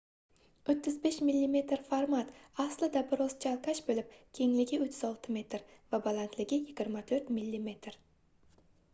35 mm format aslida bir oz chalkash boʻlib kengligi 36 mm va balandligi 24 mm